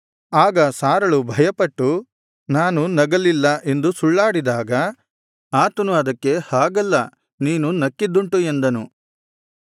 ಆಗ ಸಾರಳು ಭಯಪಟ್ಟು ನಾನು ನಗಲಿಲ್ಲ ಎಂದು ಸುಳ್ಳಾಡಿದಾಗ ಆತನು ಅದಕ್ಕೆ ಹಾಗಲ್ಲ ನೀನು ನಕ್ಕಿದ್ದುಂಟು ಎಂದನು